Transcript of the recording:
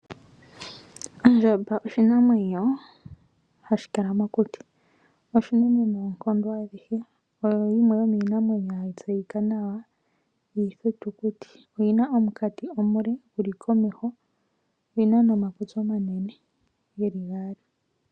Ondjamba oshinamwenyo hashi kala mokuti. Oshinene noonkondo adhihe. Oyo yimwe hayi tseyika nawa yiithitukuti. Oyina omunkati omule guli komeho, oyina nomakutsi omanene geli gaali.